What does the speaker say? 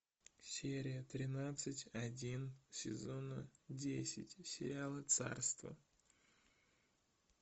серия тринадцать один сезона десять сериала царство